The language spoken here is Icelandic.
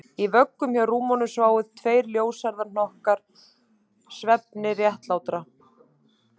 Í vöggum hjá rúminu sváfu tveir ljóshærðir hnokkar svefni réttlátra